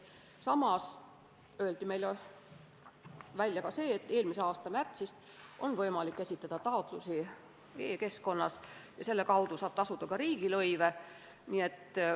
Samas öeldi meile, et eelmise aasta märtsist on võimalik esitada taotlusi ka e-keskkonnas, mille kaudu saab ühtlasi tasuda riigilõivu.